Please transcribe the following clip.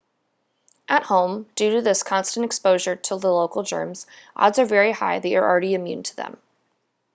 at home due to this constant exposure to the local germs odds are very high that you're already immune to them